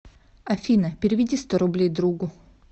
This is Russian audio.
афина переведи сто рублей другу